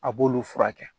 A b'olu furakɛ